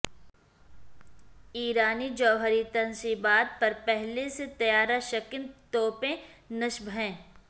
ایرانی جوہری تنصیبات پر پہلے سے طیارہ شکن توپیں نصب ہیں